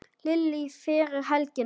Lillý: Fyrir helgina?